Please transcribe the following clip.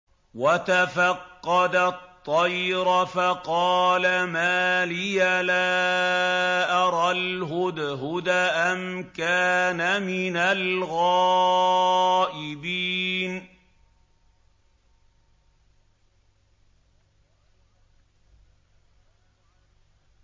وَتَفَقَّدَ الطَّيْرَ فَقَالَ مَا لِيَ لَا أَرَى الْهُدْهُدَ أَمْ كَانَ مِنَ الْغَائِبِينَ